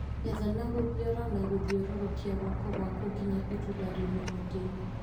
Getha na gũthiora na gũthiũrũrũkia guoko gwaku nginya itunda riume mũtĩinĩ